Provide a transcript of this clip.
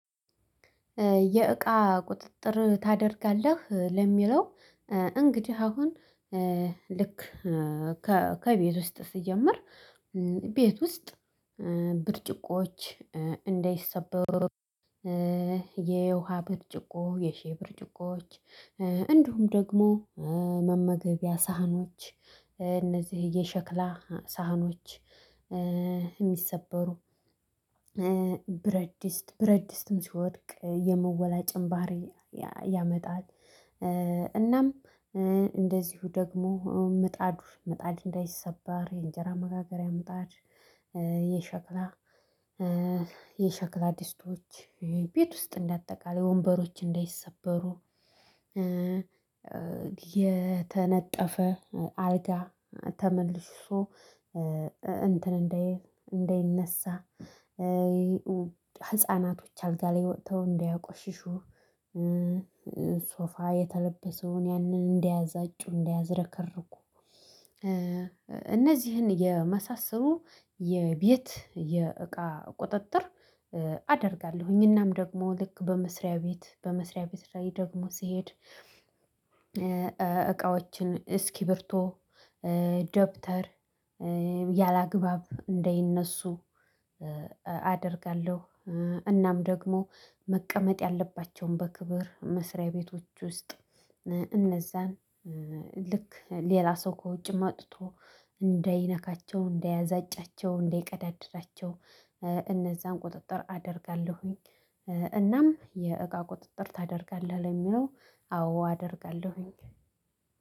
የእቃ ቁጥጥር ታደርጋለህ ለሚለው እንግዲህ አሁን ልክ ከቤት ውስጥ ስጀምር ቤት ውስጥ ብርጭቆዎች እንዳይሰበሩ የውሃ ብርጭቆ የሻይ ብርጭቆዎች እንዲሁም ደግሞ መመገቢያ ሳህኖች እነዚህ የሸክላ ሳህኖች እሚሰበሩ ብረድስት ብረድስትም ሲወድቅ የመወላጨም ባህሪ ያመጣል። እናም እንደዚሁ ደግሞ ምጣዱ ምጣድ እንዳይሰበር የእንጀራ መጋገሪያ ምጣድ የሸክላ የሻክላ ድስቶች ቤት ውስጥ እንደ አጠቃላይ ወንበሮች እንዳይሰበሩ የተነጠፈ አልጋ ተመልሶ እንትን እንዳይል እንዳይነሳ ህፃናቶች አልጋ ላይ ወጥተው እንዳያቆሽሹ ሶፋ የተለበሰውን ያንን እንዳያዛጩ እንዳያዝረከርኩ እነዚህን የመሳሰሉ የቤት የእቃ ቁጥጥር። አደርጋለሁኝ እናም ደግሞ ልክ በመስሪያ ቤት በመስሪያ ቤት ላይ ደግሞ ሲሄድ እቃዎችን እስኪብርቶ ደብተር ያላግባብ እንደይነሱ አደርጋለሁ። እናም ደግሞ መቀመጥ ያለባቸውን በክብር መስሪያ ቤቶች ውስጥ እነዛን ልክ ሌላ ሰው ከውጭ መጥቶ እንዳይነካቸው እንዳያዛጫቸው እንዳይቀዳደዳቸው እነዛን ቁጥጥር አደርጋለሁኝ። እናም የእቃ ቁጥጥር ታደርጋለህ ለሚለው አዎ አደርጋለሁኝ።